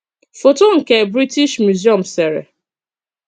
Fọ́tọ nke British Museum sèrè.